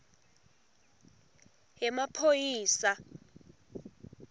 yemaphoyisa